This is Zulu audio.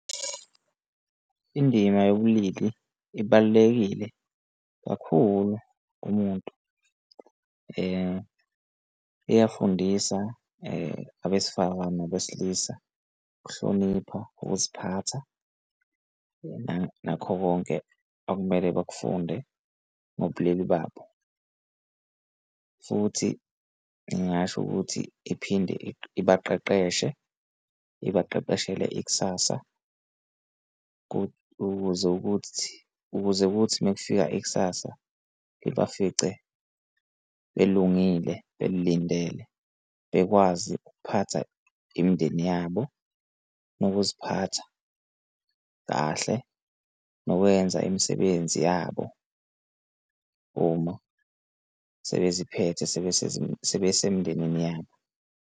Indima yobulili ibalulekile kakhulu kumuntu iyafundisa abesifazane nabesilisa ukuhlonipha, ukuziphatha nakho konke okumele bakufunde ngobulili babo. Futhi ngingasho ukuthi iphinde ibaqeqeshe ibaqeqeshele ikusasa ukuze ukuthi, ukuze kuthi uma kufika ikusasa ibafice belungile belilindele bekwazi ukuphatha imindeni yabo nokuziphatha kahle nokwenza imisebenzi yabo uma sebeziphethe sebesemndenini yabo.